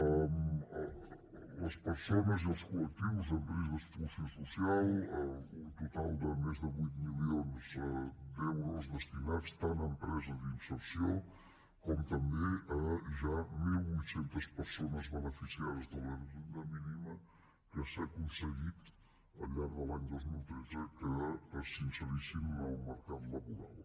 a les persones i els col·lectius en risc d’exclusió social un total de més de vuit milions d’euros destinats tant a empreses d’inserció com també a ja mil vuit cents persones beneficiades de la renda mínima que s’ha aconseguit al llarg de l’any dos mil tretze que s’inserissin al mercat laboral